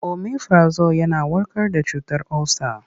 Omifirazol yana warkar da cutar olsa.